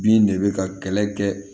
Bin de bɛ ka kɛlɛ kɛ